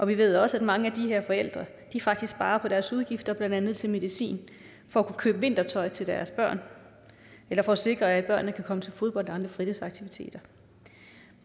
vi ved også at mange af de her forældre faktisk sparer på deres udgifter blandt andet til medicin for at kunne købe vintertøj til deres børn eller for at sikre at børnene kan komme til fodbold og andre fritidsaktiviteter